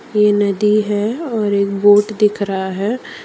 ये नदी है और एक बोट दिख रहा है।